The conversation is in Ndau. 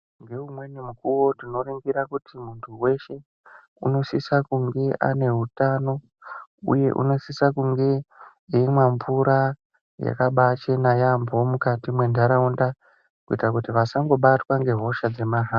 Ngeumweni mukuwo tinoringira kuti munhu weshe unosisa kunge ane utano uye unosisa kunge eimwa mvura yakabaachena yaampo mukati mwentaraunda kuita kuti vasangobatwa ngehosha dzemaha.